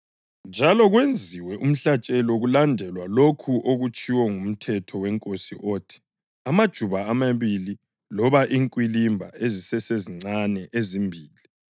njalo kwenziwe umhlatshelo kulandelwa lokho okutshiwo nguMthetho weNkosi othi: “amajuba amabili loba inkwilimba ezisesezincane ezimbili.” + 2.24 ULevi 12.8